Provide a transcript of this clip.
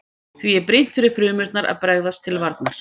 Því er brýnt fyrir frumurnar að bregðast til varnar.